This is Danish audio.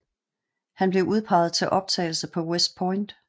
Han blev udpeget til optagelse på West Point